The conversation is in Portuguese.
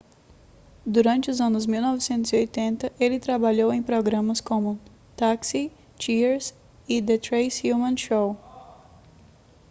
durante os anos 1980 ele trabalhou em programas como taxi cheers e the tracey ullman show